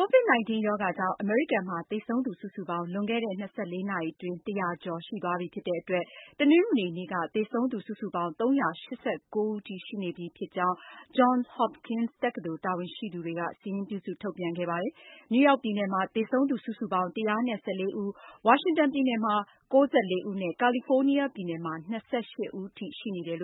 COVID-19 ရောဂါကြောင့် အမေရိကန်မှာ သေဆုံးသူစုစုပေါင်း လွန်ခဲ့တဲ့ ၂၄ နာရီအတွင်း ၁၀၀ ကျော်ရှိသွားပြီဖြစ်တဲ့အတွက် တနင်္ဂနွေနေ့က သေဆုံးသူစုစုပေါင်း ၃၈၉ ဦးထိ ရှိနေပြီဖြစ်ကြောင်း Johns Hopkins တက္ကသိုလ် တာဝန်ရှိသူတွေက စာရင်းပြုစု ထုတ်ပြန်ခဲ့ပါတယ်။ နယူးယောက်ပြည်နယ်မှာ သေဆုံးသူစုစုပေါင်း ၁၁၄ ဦး၊ ဝါရှင်တန်ပြည်နယ်မှာ ၉၄ ဦးနဲ့ ကာလီဖိုးနီးယားပြည်နယ်မှာ ၂၈ ဦးထိ ရှိနေပါ